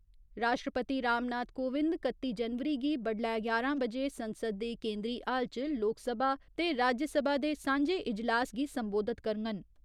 राश्ट्रपति राम नाथ कोविंद कत्ती जनवरी गी बडलै ञारां बजे संसद दे केंदरी हाल च लोकसभा ते राज्यसभा दे सांझे इजलास गी संबोधत करङन।